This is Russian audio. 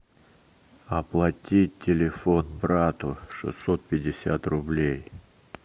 оплатить телефон брату шестьсот пятьдесят рублей